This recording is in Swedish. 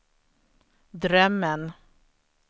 drömmen